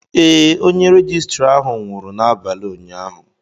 ee, onye rejistra ahụ nwụrụ n'abalị ụnyaahụ